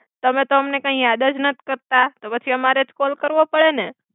તમે તો અમને કાઇ યાદ જ નથિ કર્તા, તો પછી અમારે જ કોલ કર્વો પડે ને.